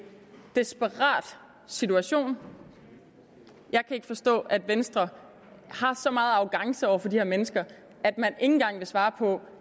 desperat situation jeg kan ikke forstå at venstre har så meget arrogance over for de her mennesker at man engang vil svare på